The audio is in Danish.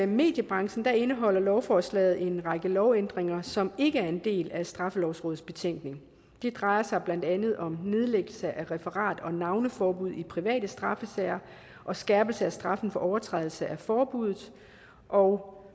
mediebranchen indeholder lovforslaget en række lovændringer som ikke er en del af straffelovrådets betænkning det drejer sig blandt andet om nedlæggelse af referat eller navneforbud i private straffesager og skærpelse af straffen for overtrædelse af forbuddet og